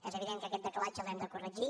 és evident que aquest decalatge l’hem de corregir